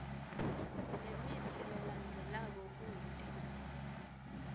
lemitsi lelandzelako kute